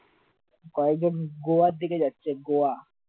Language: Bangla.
কয়েকজন গোয়ার দিকে যাচ্ছে গোয়া